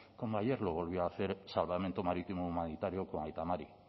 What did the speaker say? como ayer lo volvió a hacer salvamento marítimo humanitario aita mari